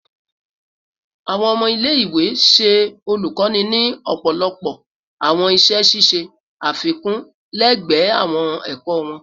Awọn ọmọ ile-iwe ṣe olukoni ni ọpọlọpọ awọn iṣẹ ṣiṣe afikun lẹgbẹẹ awọn ẹkọ wọn